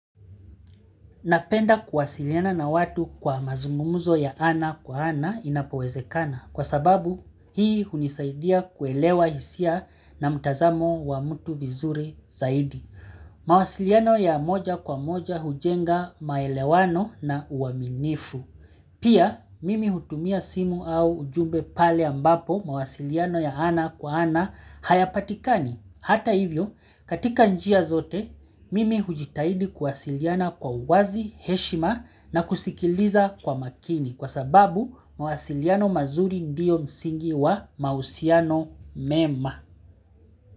Napenda kuwasiliana na watu kwa mazungumuzo ya ana kwa ana inapowezekana kwa sababu hii hunisaidia kuelewa hisia na mutazamo wa mtu vizuri zaidi. Mawasiliano ya moja kwa moja hujenga maelewano na uaminifu. Pia mimi hutumia simu au ujumbe pale ambapo mawasiliano ya ana kwa ana hayapatikani. Hata hivyo, katika njia zote, mimi hujitahidi kuwasiliana kwa uwazi heshima na kusikiliza kwa makini kwa sababu mwasiliano mazuri ndio msingi wa mausiano mema.